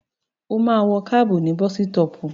Ó máa wọ kábù ní bọ́sítọpù.